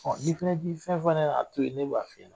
Ɔn n'i fɛnɛ t'i fɛn fɔ ne ɲɛna a to yen, ne b'a f'i ɲɛna.